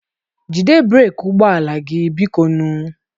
Jide breeki ụgbọ ala a, biko nụ.